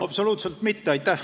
Absoluutselt mitte.